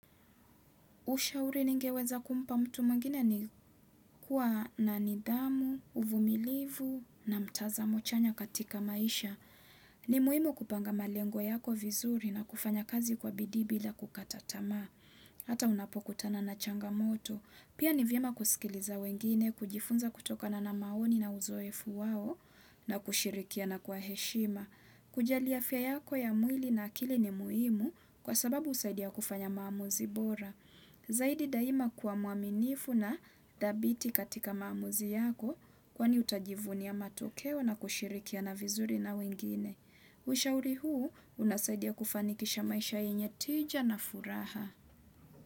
Ushauri ningeweza kumpa mtu mwingine ni kuwa na nidhamu, uvumilivu na mtazamo chanya katika maisha. Ni muhimu kupanga malengo yako vizuri na kufanya kazi kwa bidii bila kukata tamaa. Hata unapokutana na changamoto. Pia ni vyema kusikiliza wengine, kujifunza kutokana na maoni na uzoefu wao na kushirikiana kwa heshima. Kujali afya yako ya mwili na akili ni muhimu kwa sababu husaidia kufanya maamuzi bora. Zaidi daima kuwa mwaminifu na dhabiti katika maamuzi yako kwani utajivunia matokeo na kushirikiana vizuri na wengine. Ushauri huu unasaidia kufanikisha maisha yenye tija na furaha.